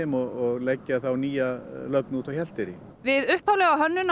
og leggja nýja lögn út á Hjalteyri við hönnun